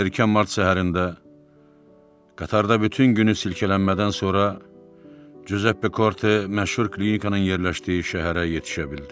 Erkən mart səhərində qatarda bütün günü silkelənmədən sonra Cüzəppe Korte məşhur klinikanın yerləşdiyi şəhərə yetişə bildi.